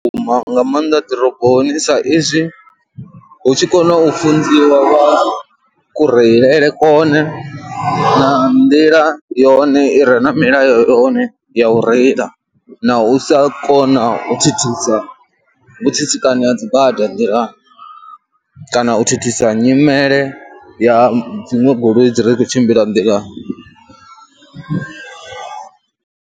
Vhukuma nga maanḓa ḓiroboni saizwi hu tshi kona u funziwa kureilele kwone nga nḓila yone i re na milayo yone ya u reila na u sa kona u thithisa u tsitsikana ha dzi bada nḓilani kana u thithisa nyimele ya dziṅwe goloi dzi re khou tshimbila nḓilani.